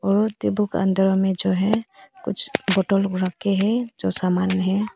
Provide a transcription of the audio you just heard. और टेबल का अंदर में जो है कुछ बॉटल लोग रख के है जो सामान है।